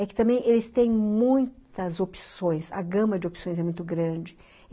É que também eles têm muitas opções, a gama de opções é muito grande.